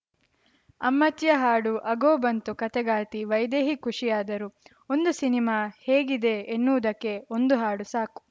ಅಮ್ಮಚ್ಚಿಯ ಹಾಡು ಅಗೋ ಬಂತು ಕಥೆಗಾರ್ತಿ ವೈದೇಹಿ ಖುಷಿಯಾದರು ಒಂದು ಸಿನಿಮಾ ಹೇಗಿದೆ ಎನ್ನುವುದಕ್ಕೆ ಒಂದು ಹಾಡು ಸಾಕು